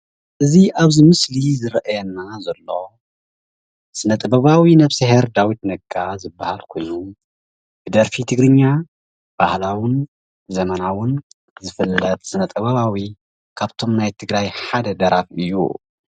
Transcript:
እዚ ኣብዚ ምስሊ ዝረአየና ዝሎ ስነ ጥበባዊ ነብስሄር ዳዊት ነጋ ዝበሃል ኮይኑ ብደርፊ ትግርኛ ባህላውን ዘመናወን ዝፍለጥ ስነ-ጥባውያን ካብቶም ናይ ትግራይ ሓደ ደራፊ እዩ፡፡